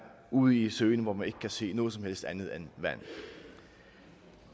ude i søen hvor man ikke kan se noget som helst andet end vand